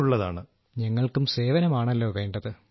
രാജേഷ് പ്രജാപതി ഞങ്ങൾക്കും സേവനമാണല്ലോ വേണ്ടത്